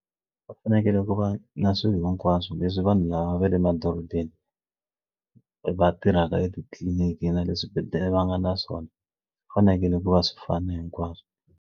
Va fanekele ku va na swilo hinkwaswo leswi vanhu lava va le madorobeni va tirhaka etitliliniki na le swibedhlele va nga na swona fanekele ku va swi fana hinkwaswo.